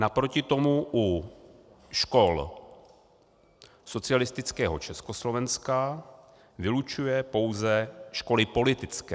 Naproti tomu u škol socialistického Československa vylučuje pouze školy politické.